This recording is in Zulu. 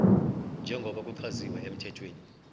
njengoba kuchaziwe emthethweni